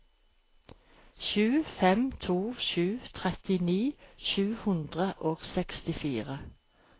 sju fem to sju trettini sju hundre og sekstifire